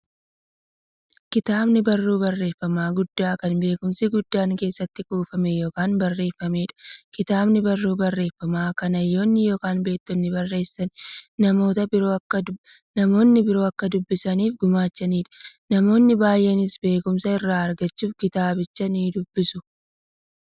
Kitaabni barruu barreeffamaa guddaa, kan beekumsi guddaan keessatti kuufame yookiin barreefameedha. Kitaabni barruu barreeffamaa, kan hayyoonni yookiin beektonni barreessanii, namni biroo akka dubbisaniif gumaachaniidha. Namoonni baay'eenis beekumsa irraa argachuuf kitaabicha nidubbisu.